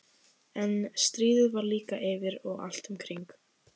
En stríðið var líka yfir og allt um kring.